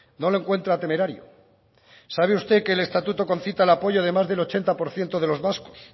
no lo encuentra temerario sabe usted que el estatuto concita el apoyo del más del ochenta por ciento de los vascos